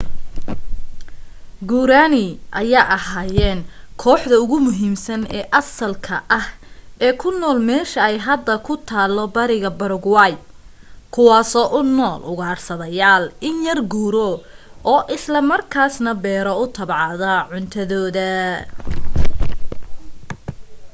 guarani ayaa ahaayeen kooxda ugu muhiimsan oo asalka ah ee ku nool meesha ay hadda ku taalo bariga paraguay kuwaasoo u nool ugaarsadeyaal in yar guuro oo isla markaas na beero u tabcado cuntadooda